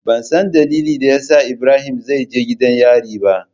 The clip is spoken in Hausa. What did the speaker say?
Bansan dalilin dayasa ibrahim zaije gidan yari ba.